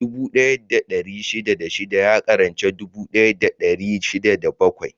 Dubu ɗaya da ɗari shida da shida ya ƙaranci dubu ɗaya da dari shida da bakwai.